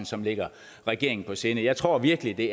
som ligger regeringen på sinde jeg tror virkelig det